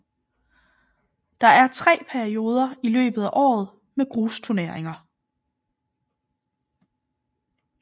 Der er tre perioder i løbet af året med grusturneringer